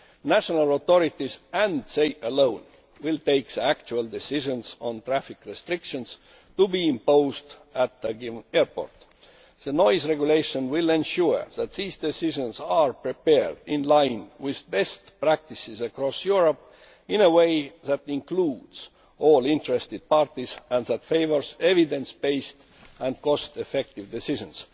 National authorities and they alone will take the actual decisions on traffic restrictions to be imposed at any given airport. The Noise Regulation will ensure that these decisions are prepared in line with best practices across Europe, in a way that includes all interested parties and favours evidence based and cost effective decisions.